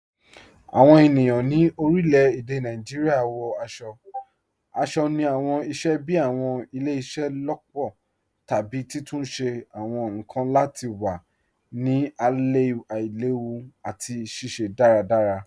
Awọn ènìyàn ni orílẹ̀-èdè Nàìjíríà wọ̀ aṣọ̀-aṣọ̀ ni awọn ìṣẹ̀ bíí awọn ìlẹ̀-ìṣẹ̀-lọpọ̀ tàbí títúnṣẹ̀ awọn nkan lati wà ni aìlèwú àti ṣiṣẹ̀ daradara.